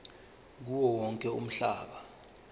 kuwo wonke umhlaba